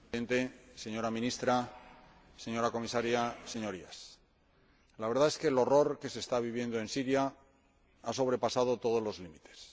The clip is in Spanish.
Señor Presidente, señora Ministra, señora Comisaria, Señorías, la verdad es que el horror que se está viviendo en Siria ha sobrepasado todos los límites.